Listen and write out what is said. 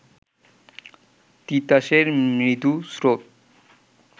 তিতাসের মৃদু স্রোত